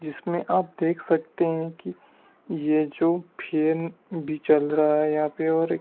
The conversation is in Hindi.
जिसमें आप देख सकते हैं कि ये जो फेन बी चल रहा है यहां पे और--